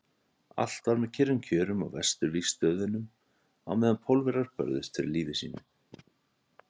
Allt var með kyrrum kjörum á Vesturvígstöðvunum á meðan Pólverjar börðust fyrir lífi sínu.